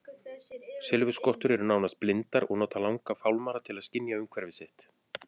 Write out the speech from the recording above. Silfurskottur eru nánast blindar og nota langa fálmara til að skynja umhverfi sitt.